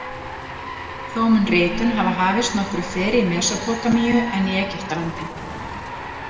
Þó mun ritun hafa hafist nokkru fyrr í Mesópótamíu en í Egyptalandi.